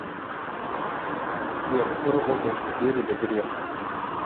сбер кто работал в сбере до грефа